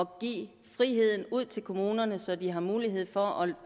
give friheden ud til kommunerne så de har mulighed for at